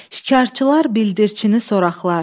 Şikarçılar bildirçini soraqlar.